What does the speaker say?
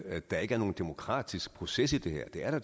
at der ikke er nogen demokratisk proces i det her det er